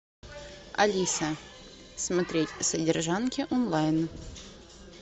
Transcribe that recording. алиса смотреть содержанки онлайн